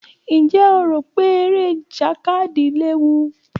Ǹjẹ́ o rò pé eré ìjàkadì léwu?